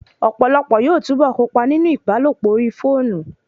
Ọ̀pọ̀lọpọ̀ yóò túbọ̀ kópa nínú ìbálòpọ̀ orí fóònù